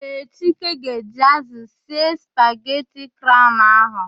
Ee, Chike ga-eji ázụ̀ sie spageti craụn ahụ.